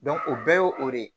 o bɛɛ ye o de ye